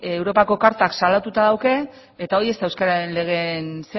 europako kartak salatuta du eta hori ez da euskararen legearen